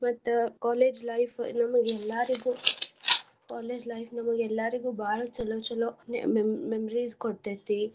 ಮತ್ತ college life . ನಮ್ಗ್ ಎಲ್ಲಾರ್ಗು college life ನಮ್ಗ್ ಎಲ್ಲಾರ್ಗು ಬಾಳ ಚಲೋ ಚಲೋ ಮೆ~ memories ಕೊಡತೈತಿ.